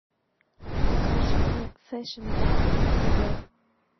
покажи мне фэшн ван на тв